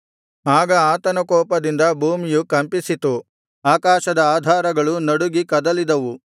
ಆಗ ಆತನ ಕೋಪದಿಂದ ಭೂಮಿಯು ಕಂಪಿಸಿತು ಆಕಾಶದ ಆಧಾರಗಳು ನಡುಗಿ ಕದಲಿದವು